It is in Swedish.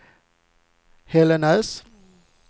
Hällnäs